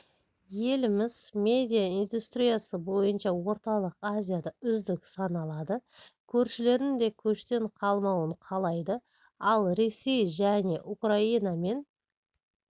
еліміз медиаиндустриясы бойынша орталық азияда үздік саналады көршілерінің де көштен қалмауын қалайды ал ресей және украинамен